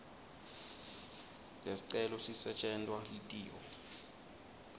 lesicelo sisetjentwa litiko